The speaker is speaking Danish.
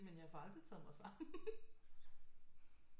Men jeg får aldrig taget mig sammen